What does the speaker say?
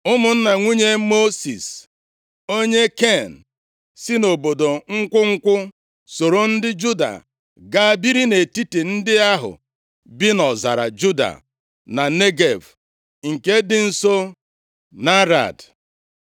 Ụmụnna nwunye Mosis, onye Ken, si nʼobodo nkwụ nkwụ + 1:16 Nke a bụ Jeriko soro ndị Juda, gaa biri nʼetiti ndị ahụ bi nʼọzara Juda, na Negev, nke dị nso nʼArad.